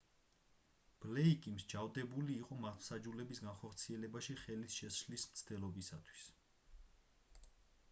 ბლეიკი მსჯავრდებული იყო მართლმსაჯულების განხორციელებაში ხელის შეშლის მცდელობისთვისაც